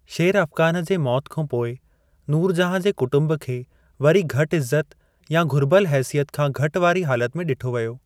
शेर अफगन जी मौत खां पोइ, नूरजहाँ जे कुटुंब खे वरी घटि इज़्ज़त या घुर्बल हसियत खां घटि वारी हालत में ॾिठो वियो।